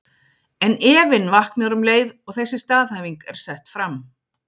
En efinn vaknar um leið og þessi staðhæfing er sett fram.